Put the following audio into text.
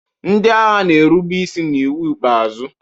ndị agha na-erube isi n'iwu ikpeazụ